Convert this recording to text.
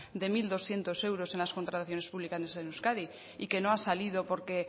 de mil doscientos euros en las contrataciones públicas en euskadi y que no ha salido porque